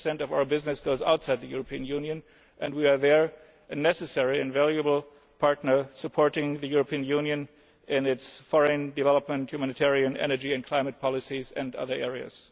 world. Ten per cent of our business goes outside the European Union, and we are a very necessary and valuable partner supporting the European Union in its foreign, development, humanitarian, energy and climate policies and other